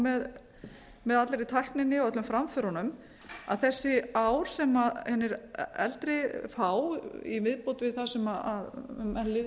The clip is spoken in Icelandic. á með allri tækninni og öllum framförunum að þessi ár sem hinir eldri fá í viðbót við það sem menn lifðu nú hér